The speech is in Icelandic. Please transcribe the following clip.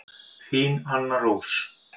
Þín Anna Rós.